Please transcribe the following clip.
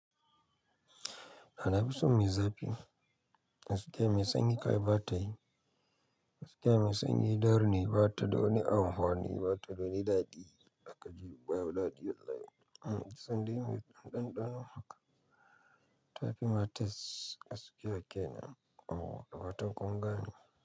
A nafi son mai zafi, gaskiya mai sanyi kai ai bata yi, gaskiya mai sanyi darrne batada wani amfani, batada wani daɗi zaka ji waye daɗi wallahi. Sandai mai ɗanɗano haka, ta fi mates gaskiya kenan awu, faran kungane.